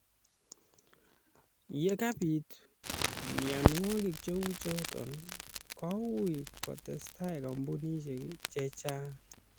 Ye kabiit mienwokik che uchoto koui kotestai kampunisiek che chang'